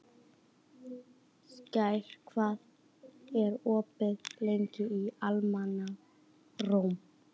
Skær, hvað er opið lengi í Almannaróm?